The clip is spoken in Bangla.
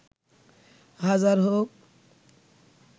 হাজার হোক